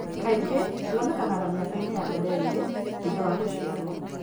Kaingĩ wonekaga mĩaka-inĩ ya mbere ĩrĩ thutha wa gũciarwo.